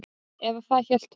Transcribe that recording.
Eða það hélt hún.